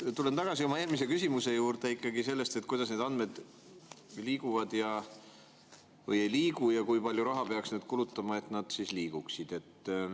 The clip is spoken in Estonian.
Ma tulen tagasi oma eelmise küsimuse juurde selle kohta, kuidas need andmed liiguvad või ei liigu ja kui palju raha peaks kulutama, et need liiguksid.